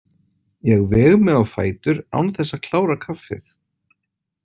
Ég veg mig á fætur án þess að klára kaffið.